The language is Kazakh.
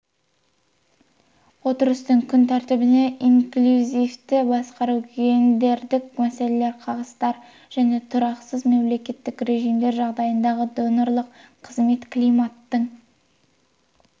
отырыстың күн тәртібіне инклюзивті басқару гендердік мәселелер қағыстар және тұрақсыз мемлекеттік режимдер жағдайындағы донорлық қызмет климаттың